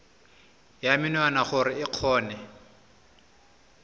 ya menwana gore o kgone